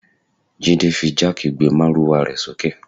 Jide fi jáàkì gbé márúwá rẹ̀ sókè